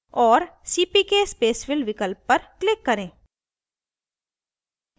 और cpk spacefill विकल्प पर click करें